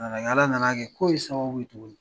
A nana kɛ ala nana kɛ ko in sababu ye tuguni .